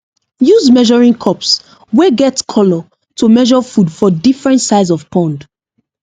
use measuring cups wey get colour to measure food for different size of pond